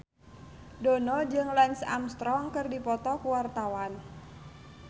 Dono jeung Lance Armstrong keur dipoto ku wartawan